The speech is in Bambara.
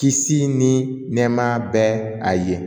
Kisi ni nɛɛmaya bɛ a ye